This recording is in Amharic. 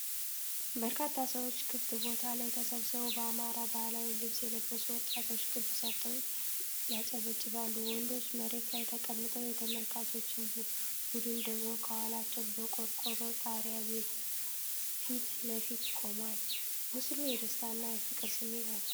በርካታ ሰዎች ክፍት ቦታ ላይ ተሰብስበው፣ በአማራ ባህላዊ ልብስ የለበሱ ወጣቶች ክብ ሰርተው ያጨበጭባሉ። ወንዶቹ መሬት ላይ ተቀምጠው፣ የተመልካቾች ቡድን ደግሞ ከኋላቸው በቆርቆሮ ጣሪያ ቤት ፊት ለፊት ቆሟል። ምስሉ የደስታና የፍቅር ስሜት ያሳያል።